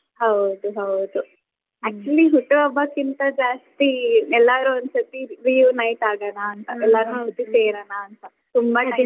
ಹೌದು ಹೌದು.actually ಹುಟ್ಟುಹಬ್ಬಕ್ಕಿಂತ ಜಾಸ್ತಿ ಎಲ್ಲಾರು ಒಂದು ಸರ್ತಿ reunite ಆಗೋಣಾಂತ ಸೇರೋಣಾಂತ, ತುಂಬಾ time .